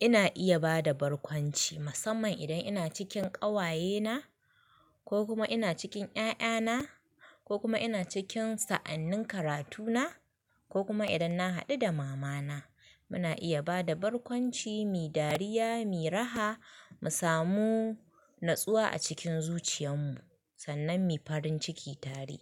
Ina iya ba da barkwanci, musamman idan ina cikin ƙawayena ko kuma ina cikin 'ya'yana ko kuma ina cikin sa'annin karatuna ko kuma idan na haɗu da mama na. Muna iya ba da barkwanci mi dariya, mi raha, mu samu natsuwa a cikin zuciyan mu sannan mu farin ciki tare.